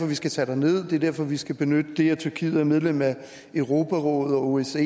vi skal tage derned det er derfor vi skal benytte det at tyrkiet er medlem af europarådet og osce